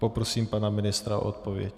Poprosím pana ministra o odpověď.